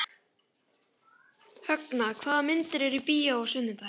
Högna, hvaða myndir eru í bíó á sunnudaginn?